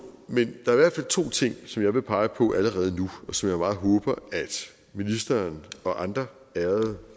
men der er to ting som jeg vil pege på allerede nu og som jeg meget håber ministeren og andre ærede